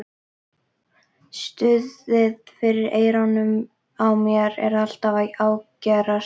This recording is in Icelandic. Suðið fyrir eyrunum á mér er alltaf að ágerast.